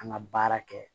An ka baara kɛ